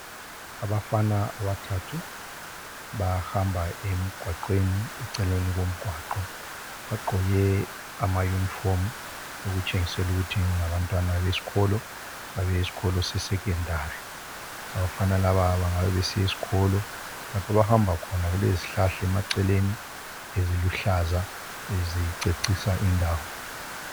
Abafana abathathu bahamba emgwaqweni eceleni komgwaqo bagqoke amayunifomu okutshengisela ukuthi ngabantwana besikolo abesikolo seSecondary abafana laba bangabe besiya esikolo lapha abahamba khona kulezihlahla emaceleni eziluhlaza ezicecisa indawo.